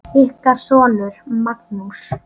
Ykkar sonur, Magnús.